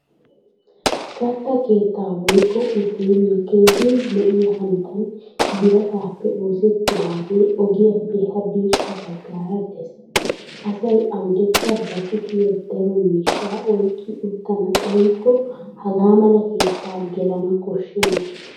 Katta keettaa woykko uteeliya keehin lo'iya hanotan birataappe oosettidaagee ogiyaappe hadirssa baggara des. Asay awudekka ba kushiya daro miishshaa oyqqi uttana xaykko hagaa mala keettaa gelana koshshenna.